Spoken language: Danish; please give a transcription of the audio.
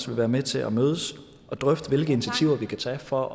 vil være med til at mødes og drøfte hvilke initiativer vi kan tage for